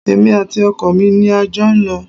Èmi àti ọkọ mi ni a jọ ń lọ